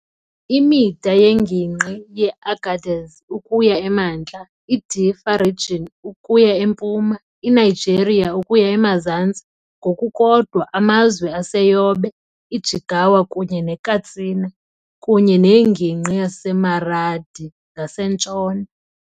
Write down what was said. Imida yeNgingqi yeAgadez ukuya emantla, iDiffa Region ukuya empuma, iNigeria ukuya emazantsi, ngokukodwa, amazwe aseYobe, iJigawa kunye neKatsina, kunye neNgingqi yaseMaradi ngasentshona.